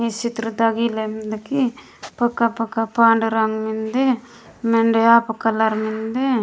इच्छित्रता गिलन्दमिंदगी पका पका पांड रंग मिन्दे मिड्या ऑफ़ कलर मिन्दे।